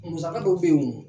Musaka dɔw bɛ yen wo.